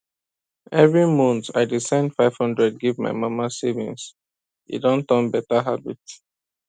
every month i dey send 500 give my mama savings e don turn beta habit